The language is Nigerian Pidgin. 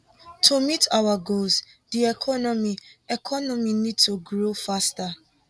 to meet our goals di economy economy need to grow faster